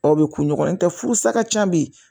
Aw bɛ ku ɲɔgɔntɛ furusa ka ca bi